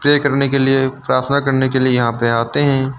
Pray करने के लिए प्रार्थना करने के लिए यहां पे आते हैं।